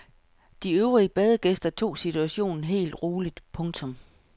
De øvrige badegæster tog situationen helt roligt. punktum